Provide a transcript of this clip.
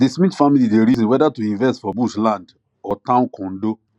di smith family dey reason whether to invest for bush land or town condo